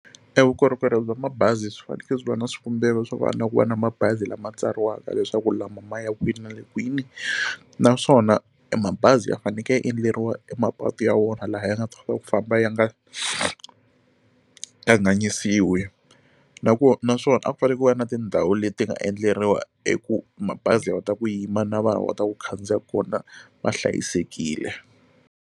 Evukorhokeri bya mabazi swi fanekele swi va na swikombelo swo ku va na mabazi lama tsariwaka leswaku lama maya kwihi na le kwini naswona mabazi ya fanekele ya endleriwa emapatu ya wona laha ya nga ta kota ku famba ya nga kanganyisiwi na ku va naswona a ku fanele ku va na tindhawu leti nga endleriwa eku mabazi ya kota ku yima na vana va ta ku khandziya kona va hlayisekile.